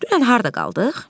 Dünən harda qaldıq?